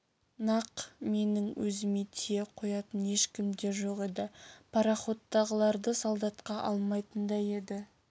нақ менің өзіме тие қоятын ешкім де жоқ еді пароходтағыларды солдатқа алмайтын да еді